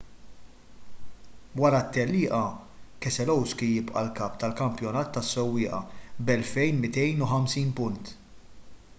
wara t-tellieqa keselowski jibqa’ l-kap tal-kampjonat tas-sewwieqa b’2,250 punt